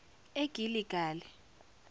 egiligali